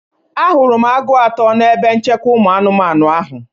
Ahụrụ m agụ atọ n'ebe nchekwa ụmụ anụmanụ ahụ.